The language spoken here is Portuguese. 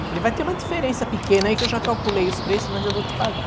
Eu falei, vai ter uma diferença pequena aí que eu já calculei os preços, mas eu vou te pagar.